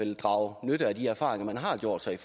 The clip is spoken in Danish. også er